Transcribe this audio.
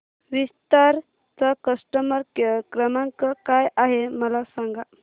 विस्तार चा customer care क्रमांक काय आहे मला सांगा